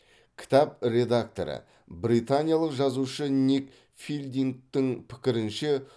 кітап редакторы британиялық жазушы ник филдингтың пікірінше